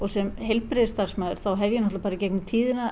sem heilbrigðisstarfsmaður þá hef ég bara í gegnum tíðina